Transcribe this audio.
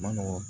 Ma nɔgɔ